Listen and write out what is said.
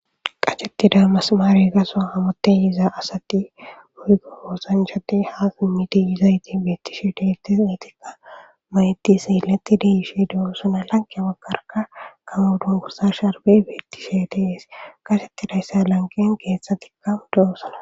qacettida masamaari baso hamut yiza asati woyikko osanchchati hamut yizayit beettishe deiltis eetikka mayti seeletti yishe de'osona lanqe baggarka gamo duniguza sharbey beettishe dees qacettidayssa lanqen keeththatikkka de'osana